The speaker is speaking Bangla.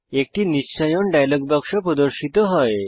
একটি নিশ্চায়ন ডায়লগ বাক্স প্রদর্শিত হয়